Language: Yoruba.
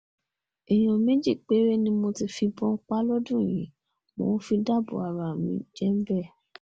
èèyàn méjì péré ni mo ti fìbọn mi pa lọ́dún yìí mo fi ń dáàbò bo ara mi -jembe